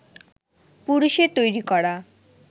পুরুষের তৈরি করা